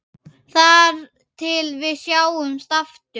Þar til við sjáumst aftur.